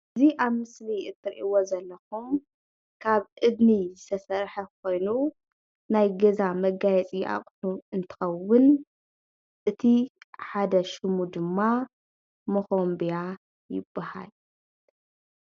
እዚ ኣብ ምስሊ ትሪእዎ ዘለኩም ካብ እድኒ ዝተሰርሐ ኮይኑ ናይ ገዛ መጋየፂ ኣቑሕ እንትኸውን እቲ ሓደ ሽሙ ድማ ሞኾምብያ ይበሃል።